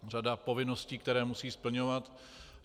Řada povinností, které musí splňovat.